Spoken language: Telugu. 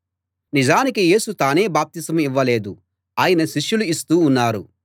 నిజానికి యేసు తానే బాప్తిసం ఇవ్వలేదు ఆయన శిష్యులు ఇస్తూ ఉన్నారు